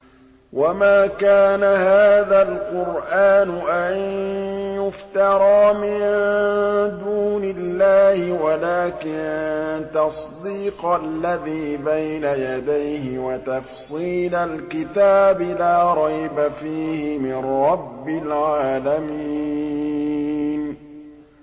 وَمَا كَانَ هَٰذَا الْقُرْآنُ أَن يُفْتَرَىٰ مِن دُونِ اللَّهِ وَلَٰكِن تَصْدِيقَ الَّذِي بَيْنَ يَدَيْهِ وَتَفْصِيلَ الْكِتَابِ لَا رَيْبَ فِيهِ مِن رَّبِّ الْعَالَمِينَ